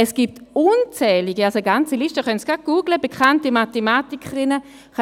Es gibt unzählige, also eine ganze Liste bekannter Mathematikerinnen.